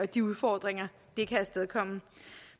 de udfordringer det kan afstedkomme